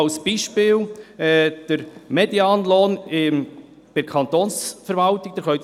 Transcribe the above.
Als Beispiel sei der Medianlohn bei der Kantonsverwaltung erwähnt.